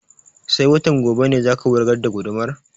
Sai watan gobe ne za ka wurgar da gudumar?